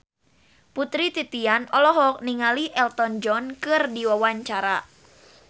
Putri Titian olohok ningali Elton John keur diwawancara